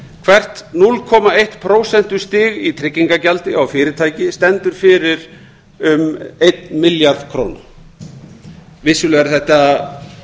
hvert núll komma eitt prósentustig í tryggingagjaldi á fyrirtæki stendur fyrir um eitt milljarð króna vissulega er þetta